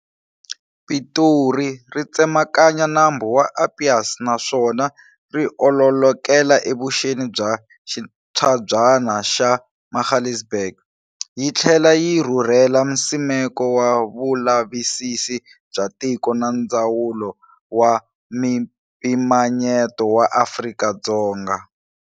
Pitori ri tsemakanya nambu wa Apies naswona riololokela evuxeni bya xintshabyana xa Magaliesberg. Yi tlhela yi rhurhela Nsimeko wa vulavisisi bya tiko na Ndzawulo wa Mimpimanyeto wa Afrika-Dzonga.